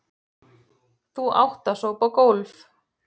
Þú átt að sópa gólf.